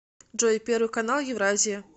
джой первый канал евразия